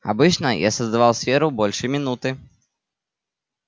обычно я создавал сферу больше минуты